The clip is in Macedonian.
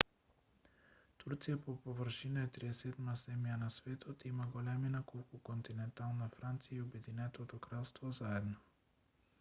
турција по површина е 37-ма земја на светот и има големина колку континентална франција и обединетото кралство заедно